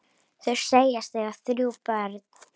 Þau segjast eiga þrjú börn.